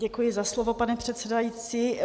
Děkuji za slovo, pane předsedající.